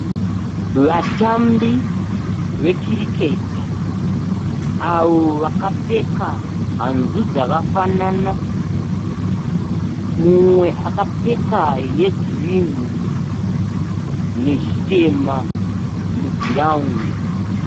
Vatambi vekiriketi, avo vakapfeka hanzu dzakafanana. Mumwe akapfeka yegirinhi nechitema mugirawundi.